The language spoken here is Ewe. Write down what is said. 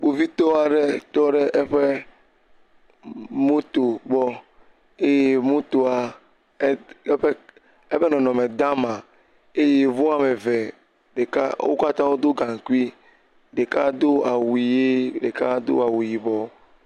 Kpovitɔ aɖɔ tɔ ɖe eƒe moto gbɔ eye motoa, ee eƒe eƒe nɔnɔme gã ma eye yevuwo ame eve, ɖeka wo katã wodo gaŋkui. Ɖeka do awu ʋie ɖeka do awu yibɔ.